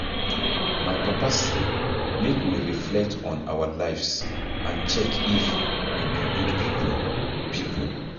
My papa say make we reflect on our lives and check if we be good people people.